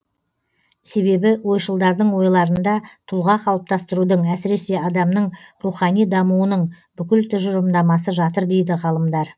себебі ойшылдардың ойларында тұлға қалыптастырудың әсіресе адамның рухани дамуының бүкіл тұжырымдамасы жатыр дейді ғалымдар